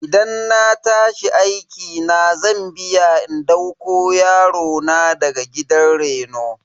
Idan na tashi aiki zan biya in dauko yarona daga gidan reno.